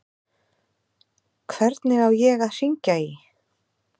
Hvernig á ég að hringja í?